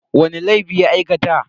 Wani laifi ya aikata?